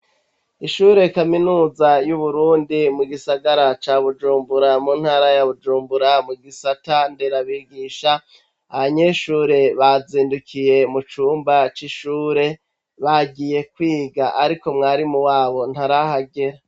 Ishure kaminuza y'Uburundi mu gisagara ca Bujumbura, mu ntara ya Bujumbura mu gisata nderabigisha abanyeshure bazindukiye mu cumba c'ishure bagiye kwiga ariko mwarimu wabo ntarahagera.